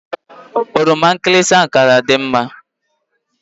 Oroma nkịlịsị ka ga adị mma